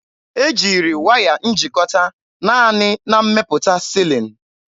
E jiri waya njikọta naanị na mmepụta silin.